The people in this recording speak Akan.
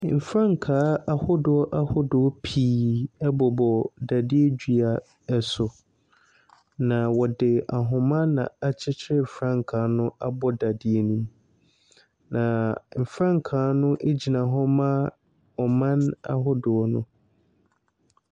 Frankaa ahodoɔ ahodoɔ pii bobɔ dadeɛ dua so, na wɔde ahoma na akyekyere frankaa no abɔ dadeɛ no mu. Na frankaa no gyina hɔ ma aman ahodoɔ no.